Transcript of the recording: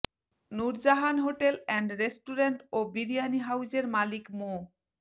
Nurjahan hotel and restaurant ও বিরিয়ানি হাউজের মালিক মো